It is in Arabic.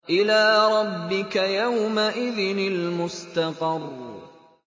إِلَىٰ رَبِّكَ يَوْمَئِذٍ الْمُسْتَقَرُّ